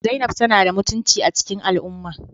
Zainab tana da mutunci a cikin al'umma